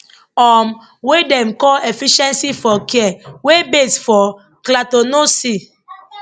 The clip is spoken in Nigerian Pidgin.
um wey dem call efficiency for care wey base for clactononsea